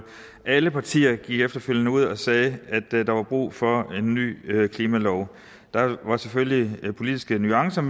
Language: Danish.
alle partier gik efterfølgende ud og sagde at der var brug for en ny klimalov der var selvfølgelig politiske nuancer